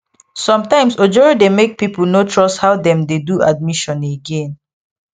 sometimes ojoro dey make people no trust how dem dey do admission again